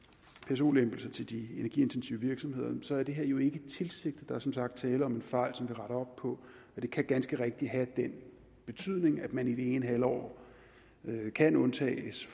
pso lempelser til de energiintensive virksomheder så er det her jo ikke tilsigtet der er som sagt tale om en fejl retter op på og det kan ganske rigtigt have den betydning at man i det ene halvår kan undtages